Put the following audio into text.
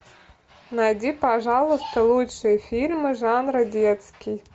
найди пожалуйста лучшие фильмы жанра детский